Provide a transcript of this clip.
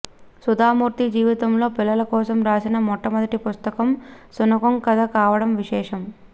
సుధామూర్తి జీవితంలో పిల్లలకోసం రాసిన మొట్టమొదటి పుస్తకం శునకం కథ కావడం విశేషం